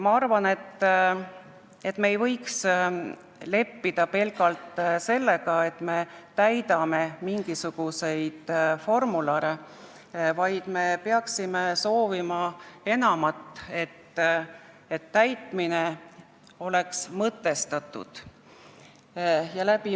Ma arvan, et me ei peaks leppima pelgalt sellega, et me täidame mingisuguseid formulare, vaid me peaksime soovima enamat, seda, et täitmine oleks mõtestatud.